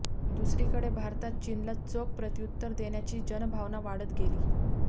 दुसरीकडे भारतात चीनला चोख प्रत्युत्तर देण्याची जनभावना वाढत गेली